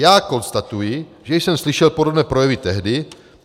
Já konstatuji, že jsem slyšel podobné projevy tehdy.